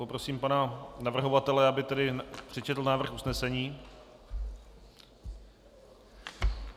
Poprosím pana navrhovatele, aby tedy přečetl návrh usnesení.